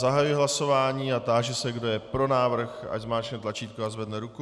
Zahajuji hlasování a táži se, kdo je pro návrh, ať zmáčkne tlačítko a zvedne ruku.